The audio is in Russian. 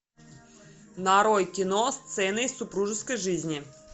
нарой кино сцены из супружеской жизни